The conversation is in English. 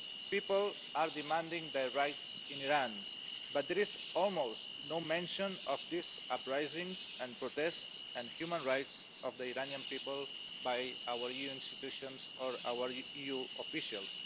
People are demanding their rights in Iran, but there is almost no mention of these uprisings and protests and human rights of the Iranian people by our EU institutions or our EU officials.